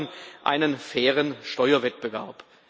Wir brauchen einen fairen Steuerwettbewerb.